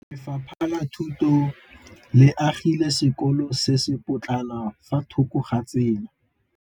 Lefapha la Thuto le agile sekôlô se se pôtlana fa thoko ga tsela.